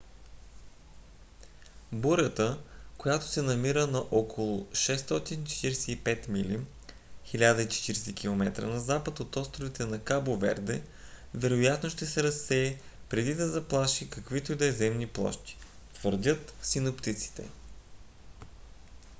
бурята която се намира на около 645 мили 1040 км на запад от островите на кабо верде вероятно ще се разсее преди да заплаши каквито и да е земни площи твърдят синоптиците